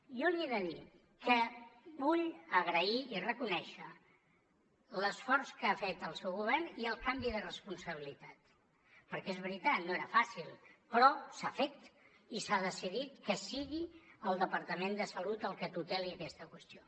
jo li he de dir que vull agrair i reconèixer l’esforç que ha fet el seu govern i el canvi de responsabilitat perquè és veritat no era fàcil però s’ha fet i s’ha decidit que sigui el departament de salut el que tuteli aquesta qüestió